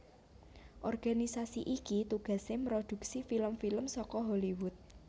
Organisasi iki tugasé mproduksi film film saka Hollywood